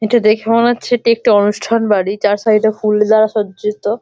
এটা দেখে মনে হচ্ছে এটি একটি অনুষ্ঠান বাড়ি যার সাইডে ফুল দ্বারা সজ্জিত।